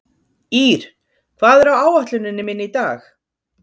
Ír, hvað er á áætluninni minni í dag?